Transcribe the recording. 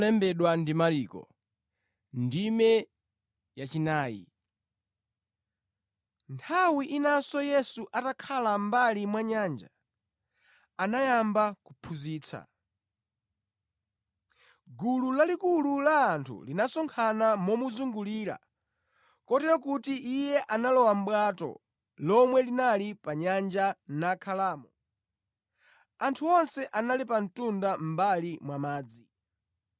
Nthawi inanso Yesu atakhala mʼmbali mwa nyanja, anayamba kuphunzitsa. Gulu lalikulu la anthu linasonkhana momuzungulira kotero kuti Iye analowa mʼbwato lomwe linali pa nyanja nakhalamo, anthu onse ali pa mtunda mʼmbali mwa madzi.